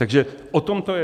Takže o tom to je.